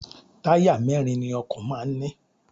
Táyà mẹ́rin ni ọkọ̀ máa ń ní.